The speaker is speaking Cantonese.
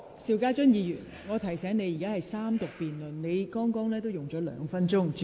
邵家臻議員，我提醒你，本會現正進行三讀辯論。